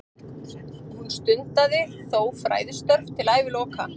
Hún stundaði þó fræðistörf til æviloka.